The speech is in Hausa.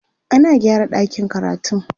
ana gyara ɗakin karatun